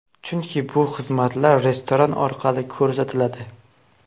Chunki bu xizmatlar restoran orqali ko‘rsatiladi”.